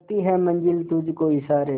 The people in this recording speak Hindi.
करती है मंजिल तुझ को इशारे